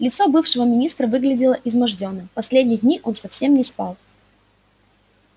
лицо бывшего министра выглядело измождённым последние дни он совсем не спал